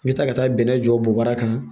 N bɛ taa ka taa bɛnnɛ jɔ boba kan